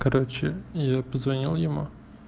короче я позвонил ему